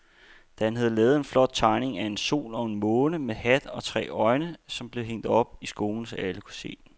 Dan havde lavet en flot tegning af en sol og en måne med hat og tre øjne, som blev hængt op i skolen, så alle kunne se den.